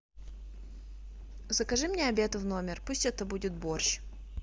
закажи мне обед в номер пусть это будет борщ